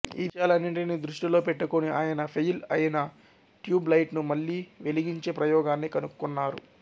ఈ విషయాలన్నింటిని దృష్టిలో పెట్టుకొని ఆయన ఫైయిల్ అయిన ట్యూబ్ లైట్ ను మళ్ళి వెలిగించే ప్రయోగాన్ని కనుక్కున్నారు